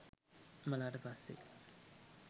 මළාට පස්සෙ